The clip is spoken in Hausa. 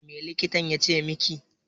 Me likitan ya ce miki?